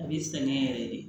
A b'i sɛgɛn yɛrɛ de